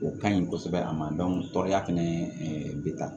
O ka ɲi kosɛbɛ a ma tɔɔrɔya fɛnɛ bɛ ta